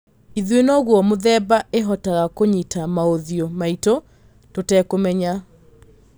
Ithuĩ noguo mũthemba ĩhotaga kũnyĩta maũthiũ maitũ tũtekũmenya